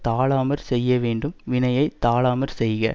தாழாமற் செய்யவேண்டும் வினையை தாழாமற் செய்க